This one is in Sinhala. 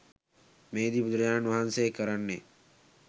මෙහිදි බුදුරජාණන් වහන්සේ කරන්නේ